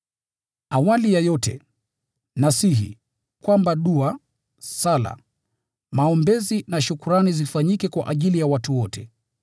Awali ya yote, nasihi kwamba dua, sala, maombezi na shukrani zifanyike kwa ajili ya watu wote: